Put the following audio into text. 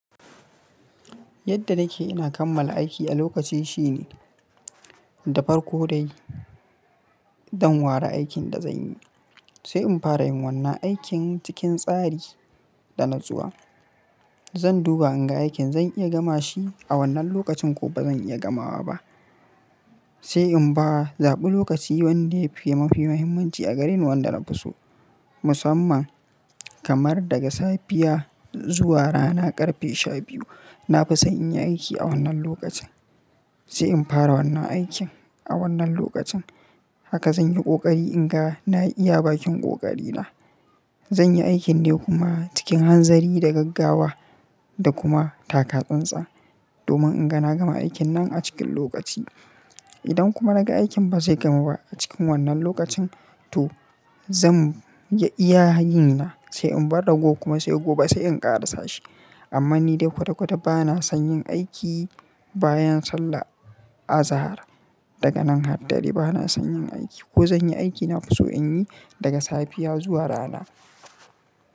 Yadda nake ina kammala aiki a lokaci shine da farko dai don ware aikin da zanyi, sai in fara yin wannan aikin cikin tsari da natsuwa. Zan duba in ga aikin zan iya gama shi a wannan lokacin ko bazan iya gamawa ba. Sai in ba zaɓi lokaci wanda yafi mafi muhimmanci a gareni wanda na fi so. Musamman kamar daga safiya zuwa rana ƙarfe shabiyu na fi so in yi aiki a wannan lokacin. Sai in fara wannan aikin a wannan lokacin haka zan yi ƙoƙari in ga na iya bakin ƙoƙari na. Zan yi aikin ne kuma cikin hanzari da gaggawa da kuma taka tsantsan domin in ga na gama aikin nan a cikin lokaci. Idan kuma naga aikin ba zai gamu ba a cikin wannan lokacin to zan iya yinna sai in bar ragowar kuma sai gobe sai in ƙara sashi. Amma ni dai kwata-kwata ba na son yin aiki bayan sallah azahar. Daga nan har dare ba na son yin aiki ko zan yi aiki na fi so in yi daga safiya zuwa rana.